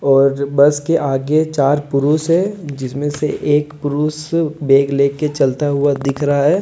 और जो बस के आगे चार पुरुष है जिसमें से एक पुरुष बैग लेकर चलता हुआ दिख रहा है।